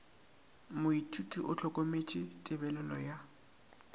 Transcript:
moithuti o hlokometše tebelelo ya